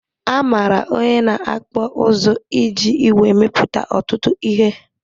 Amara onye na-akpụ ụzụ iji ìgwè emepụta ọtụtụ ihe